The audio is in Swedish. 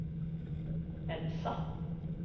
Elsa